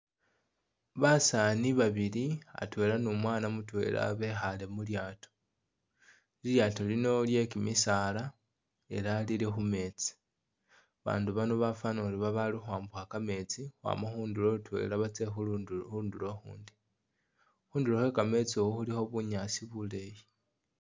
Basaani babili atwela ne umwana mutwela bekhaale mulyaato, lilyaato lino lye kimisaala ela lili khu meetsi, babandu bano bafwana ori babaali ukhwama kametsi ukhwama khundulo khutwela batsye khundulo ukhundi, khundulo khwe kametsi ukhu khulikho bunyaasi buleeyi.